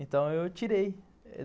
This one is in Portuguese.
Então, eu tirei.